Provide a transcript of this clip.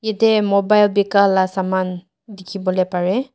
ete mobile bikai la saman dikhi bole pare.